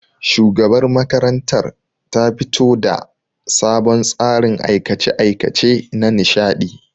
Shugabar makarantar ta fito da sabon tsarin aikace-aikace nanishadi